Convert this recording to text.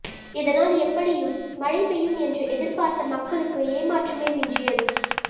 இதனால் எப்படியும் மழை பெய்யும் என்று எதிர்பார்த்த மக்களுக்கு ஏமாற்றமே மிஞ்சியது